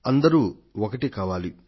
అందరూ ఒక్కటి కావాలి